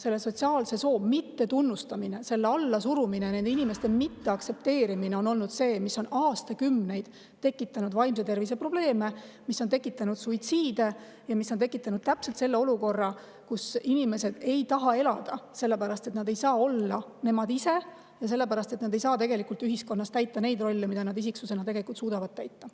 sotsiaalse soo mittetunnustamine, selle allasurumine, nende inimeste mitteaktsepteerimine on olnud see, mis on aastakümneid tekitanud vaimse tervise probleeme, mis on suitsiide ja mis on tekitanud täpselt selle olukorra, kus inimesed ei taha elada, sellepärast et nad ei saa olla nemad ise ja nad ei saa tegelikult ühiskonnas täita neid rolle, mida nad isiksusena tegelikult suudavad täita.